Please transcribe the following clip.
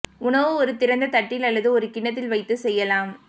உணவு ஒரு திறந்த தட்டில் அல்லது ஒரு கிண்ணத்தில் வைத்து செய்யலாம்